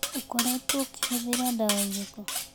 Ũkoretwo ũkĩhũthĩra ndawa ĩrĩkũ.